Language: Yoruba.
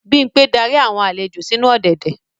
Bimpe darí awọn alejo sinu ọ̀dẹ̀dẹ̀.